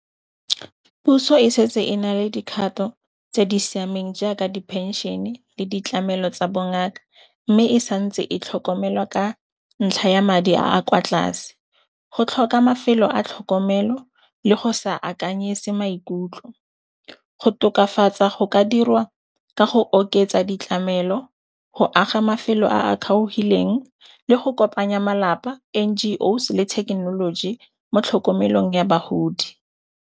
Puso e setse e na le dikgato tse di siameng jaaka diphenšene le ditlamelo tsa bongaka, mme e santse e tlhokomelwa ka ntlha ya madi a kwa tlase, ho tlhoka mafelo a tlhokomelo le go sa akanyise maikutlo. Go tokafatsa go ka dirwa ka go oketsa ditlamelo, go aga mafelo a a kgaogileng le go kopanya malapa, N_G_O's le thekenoloji mo tlhokomelong ya bahodi.